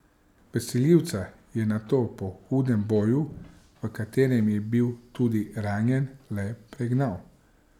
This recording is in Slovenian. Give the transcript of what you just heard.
Vsiljivca je nato po hudem boju, v katerem je bil tudi ranjen, le pregnal.